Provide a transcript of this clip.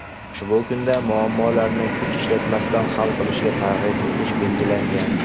ushbu kunda muammolarni kuch ishlatmasdan hal qilishga targ‘ib etish belgilangan.